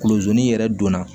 Kulozon n'i yɛrɛ donna